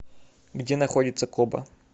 где находится коба